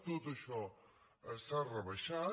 tot això s’ha rebaixat